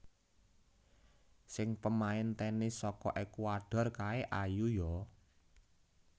Sing pemain tenis soko Ekuador kae ayu yo